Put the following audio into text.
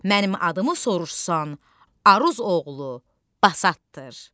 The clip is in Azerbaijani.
Mənim adımı soruşsan, Aruz oğlu Basatdır.